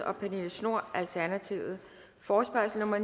og pernille schnoor forespørgsel nummer